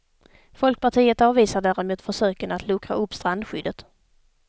Folkpartiet avvisar däremot försöken att luckra upp strandskyddet.